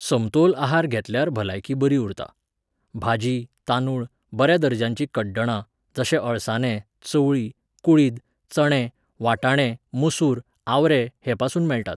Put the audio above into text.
समतोल आहार घेतल्यार भलायकी बरी उरता. भाजी, तांदूळ, बऱ्या दर्जाचीं कड्डणां, जशे अळसांदे, चवळी, कुळीद, चणे, वाटाणे, मसूर, आवरे, हेपासून मेळटात